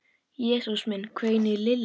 Jesús minn hvein í Lillu.